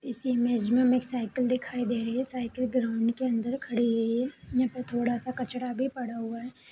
इस इमेज मे हमे एक साइकल दिखाई दे रही है साइकिल ग्राउंड के अंदर खड़ी है यहां पे थोड़ा सा कचरा भी पड़ा हुआ है।